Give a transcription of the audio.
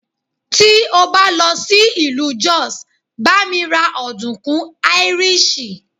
Tí o bá lọ sí ìlú Jos, bá mi ra ọ̀dùnkún áíríṣì.